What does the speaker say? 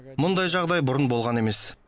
мұндай жағдай бұрын болған емес